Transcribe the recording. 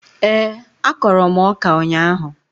Ee, akọrọ m ọka ụnyaahụ